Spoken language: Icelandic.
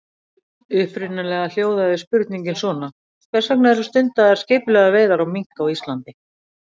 Upprunalega hljóðaði spurningin svona: Hvers vegna eru stundaðar skipulegar veiðar á mink á Íslandi?